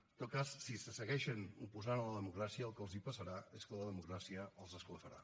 en tot cas si se segueixen oposant a la democràcia el que els passarà és que la democràcia els esclafarà